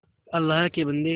अल्लाह के बन्दे